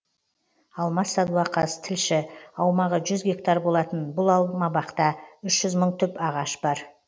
алмас садуақас тілші аумағы жүз гектар болатын бұл алмабақта үш жүз мың түп ағаш бар